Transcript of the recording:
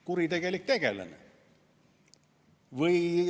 Kuritegelik tegelane?